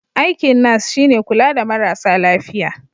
Aikin nas shi ne kula da marasa lafiya.